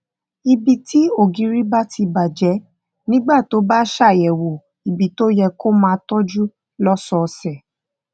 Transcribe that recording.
ibi tí ògiri bá ti bà jé nígbà tó bá ṣàyèwò ibi tó yẹ kó o máa tójú lósòòsè